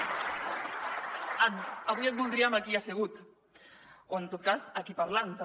avui et voldríem aquí assegut o en tot cas aquí parlant també